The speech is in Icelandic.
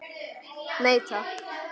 Nei takk.